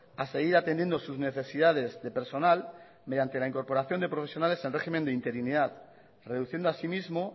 a seguir atendiendo sus necesidades de personal mediante la incorporación de profesionales en régimen de interinidad reduciendo asimismo